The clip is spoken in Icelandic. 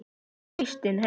Þín Kristín Heiða.